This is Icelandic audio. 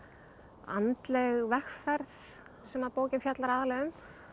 andleg vegferð sem að bókin fjallar aðallega um